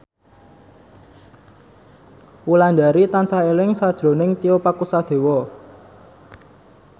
Wulandari tansah eling sakjroning Tio Pakusadewo